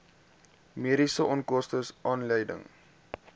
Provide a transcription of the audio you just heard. mediese onkoste aanleiding